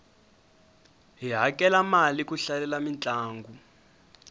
hi hakela mali ku hlalela mintlangu